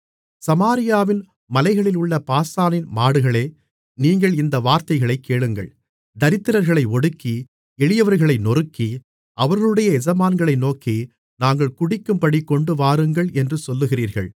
சமாரியாவின் மலைகளிலுள்ள பாசானின் மாடுகளே நீங்கள் இந்த வார்த்தைகளைக் கேளுங்கள் தரித்திரர்களை ஒடுக்கி எளியவர்களை நொறுக்கி அவர்களுடைய எஜமான்களை நோக்கி நாங்கள் குடிக்கும்படி கொண்டுவாருங்கள் என்று சொல்லுகிறீர்கள்